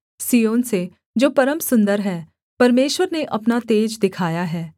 सिय्योन से जो परम सुन्दर है परमेश्वर ने अपना तेज दिखाया है